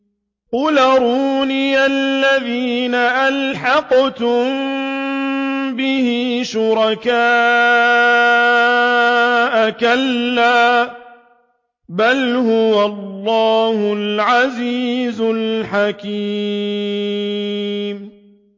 قُلْ أَرُونِيَ الَّذِينَ أَلْحَقْتُم بِهِ شُرَكَاءَ ۖ كَلَّا ۚ بَلْ هُوَ اللَّهُ الْعَزِيزُ الْحَكِيمُ